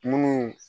Munnu